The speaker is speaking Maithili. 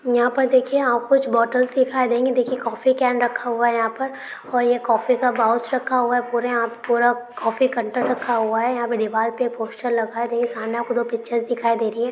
यहां पर देखिए आप कुछ बोटल दिखाई देंगे | देखिये कॉफ़ी कैन रखा हुआ है यहां पर और यह कॉफ़ी का पाउच रखा हुआ है | पूरे आप पूरा कॉफ़ी कैंटर रखा हुआ है यहां पर दीवार पर पोस्टर लगा देंगे पिच्चर दिखाई दे रही है।